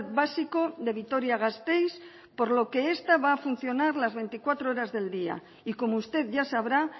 básico de vitoria gasteiz por lo que esta va a funcionar las veinticuatro horas del día y como usted ya sabrá